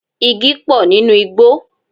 Igi pọ̀ nínú igbò